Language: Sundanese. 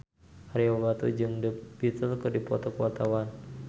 Ario Batu jeung The Beatles keur dipoto ku wartawan